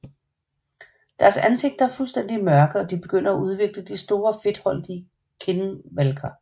Deres ansigter er fuldstændig mørke og de begynder at udvikle de store fedtholdige kindvalker